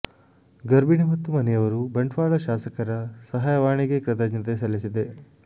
ಗರ್ಭಿಣಿ ಮತ್ತು ಮನೆಯವರು ಬಂಟ್ವಾಳ ಶಾಸಕರ ಸಹಾಯವಾಣಿ ಗೆ ಕೃತಜ್ಞತೆ ಸಲ್ಲಿಸಿದೆ